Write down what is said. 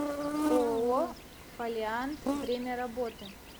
ооо фолиант время работы